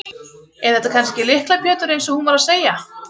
Er þetta kannski Lykla Pétur eins og hún var að segja?